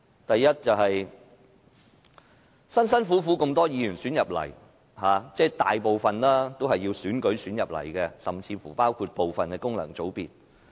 第一，多位議員幾經辛苦獲選進入議會，即大部分議員都是經選舉晉身立法會，甚至包括部分功能界別。